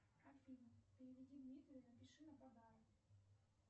афина переведи дмитрию напиши на подарок